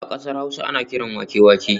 A kasar Hausa ana kiran wake wake